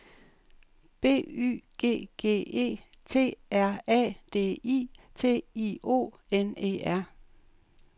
B Y G G E T R A D I T I O N E R